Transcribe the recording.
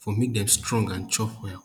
for make dem strong and chop well